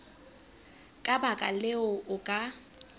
ka baka leo o ka